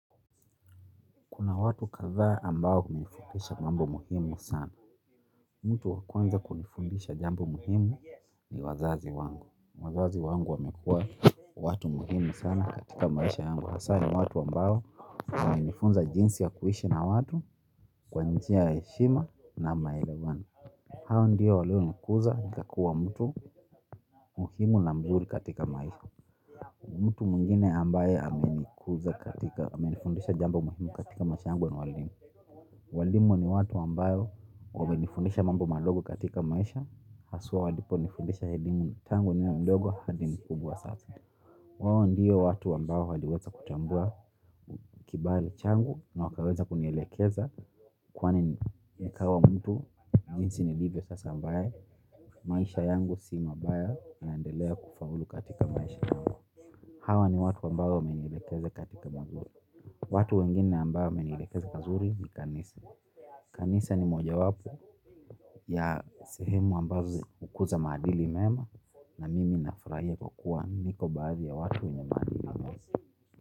Kuna watu kadhaa ambao hunifundisha mambo muhimu sana. Mtu wa kwanza kunifundisha jambo muhimu ni wazazi wangu. Wazazi wangu wamekuwa watu muhimu sana katika maisha yangu. Hasa ni watu ambao wame nifunza jinsi ya kuishi na watu kwa njia ya heshima na maelewano. Hawa ndiyo walio nikuza ni kakua mtu muhimu na mzuri katika maisha. Mtu mwingine ambaye ame nifundisha jambu muhimu katika maisha yangu ni waalimu. Waalimu ni watu ambayo wame nifundisha mambo madogo katika maisha haswa walipo nifundisha elimu tangu niwe mdogo hadi mkubwa sasa. Wao ndiyo watu ambao waliweza kutambua kibali changu na wakaweza kunielekeza. Kwani nikawa mtu, jinsi nilivyo sasa ambaye, maisha yangu si mabaya nandelea kufaulu katika maisha kama hawa ni watu ambayo wame nilekeze katika mazuri. Watu wengine ambao wame nilekeze pazuri ni kanisa. Kanisa ni moja wapo ya sehemu ambazo ukuza madili mema na nimi nafurahia kwa kuwa niko baadhi ya watu wenye maadili mema.